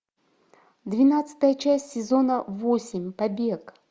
двенадцатая часть сезона восемь побег